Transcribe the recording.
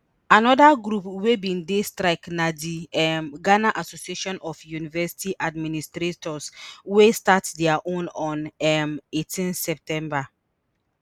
anoda group wey bin dey strike na di um ghana association of university administrators wey start dia own on um eighteen september